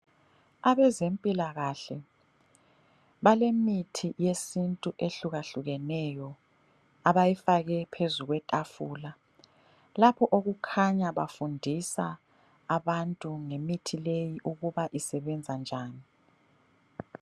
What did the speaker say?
Abezempilakahle balemithi yesintu ehlukahlukeneyo abayifake phezu kwetafula, lapho okukhanya bafundisa abantu ngemithi leyo ukuba isebenza njani.